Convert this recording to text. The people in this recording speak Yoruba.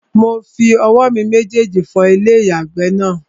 Mo fi owó mi méjèjì fọ ilé-ìyàgbẹ̀ náà